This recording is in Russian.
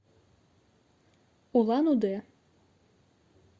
улан удэ